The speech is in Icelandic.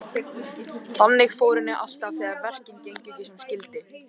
Þannig fór henni alltaf þegar verkin gengu ekki sem skyldi.